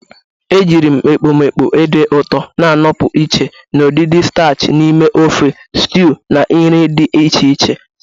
Ejiri m ekpomekpo ede ụtọ na-anọpụ iche na udidi starchi n'ime ofe, stiwu, na nri dị iche iche.